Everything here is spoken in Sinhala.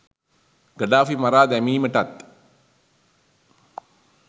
ගඩාෆි මරා දැමීමටත්